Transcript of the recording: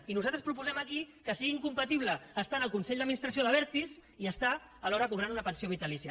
i nosaltres proposem aquí que sigui incompatible estar en el consell d’administració d’abertis i estar alhora cobrant una pensió vitalícia